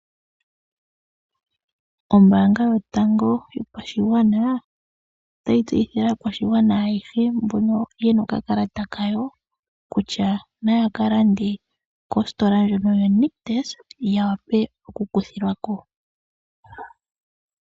Ombaanga yotango yopashigwana ota yi tseyithile aakwashigwana ayehe mbono ye na okakalata ka yo kutya na ya ka lande kositola ndjono yoNictus ya wape okukuthilwa ko.